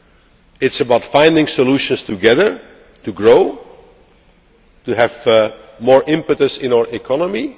It is about finding solutions together, to grow, to have more impetus in our economy.